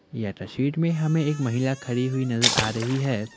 यह तस्वीर में हमें एक महिला खड़ी हुई नजर आ रही है।